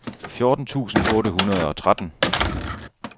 fjorten tusind otte hundrede og tretten